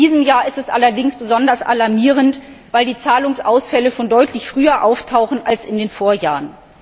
In diesem Jahr ist es allerdings besonders alarmierend, weil die Zahlungsausfälle schon deutlich früher auftauchen als in den Vorjahren.